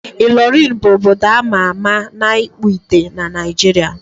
Ịlọrịn bụ obodo a ma ama na ịkpụ ite na Naịjiria.